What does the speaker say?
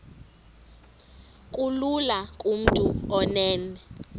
kulula kumntu onen